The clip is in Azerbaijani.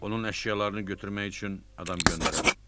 Onun əşyalarını götürmək üçün adam göndərərəm.